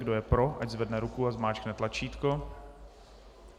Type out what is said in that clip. Kdo je pro, ať zvedne ruku a zmáčkne tlačítko.